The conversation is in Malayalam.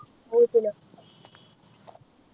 വീട്ടിലോ